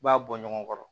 I b'a bɔ ɲɔgɔn kɔrɔ